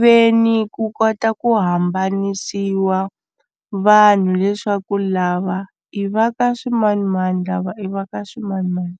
ve ni ku kota ku hambanisiwa vanhu leswaku lava i va ka swi manimani lava i va ka swimanimani.